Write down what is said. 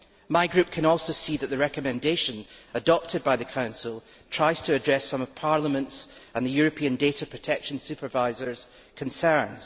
My group can also see that the recommendation adopted by the Council tries to address some of Parliament's and the European Data Protection Supervisor's concerns.